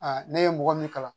ne ye mɔgɔ min kalan